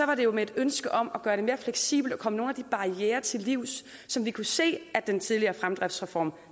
var det med en ønske om at gøre det mere fleksibelt og komme nogle af de barrierer til livs som vi kunne se at den tidligere fremdriftsreform